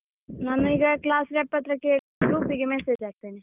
ನಾನೀಗ class rep ಹತ್ರ ಕೇಳಿ group ಗೆ messege ಹಾಕ್ತೇನೆ.